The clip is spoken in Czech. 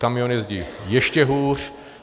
Kamiony jezdí ještě hůř.